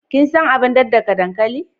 Kin san abar daddaka dankali?